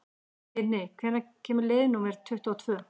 Tinni, hvenær kemur leið númer tuttugu og tvö?